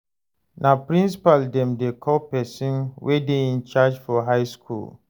Na principal dem dey call pesin wey dey in charge for high skool.